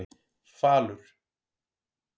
Falur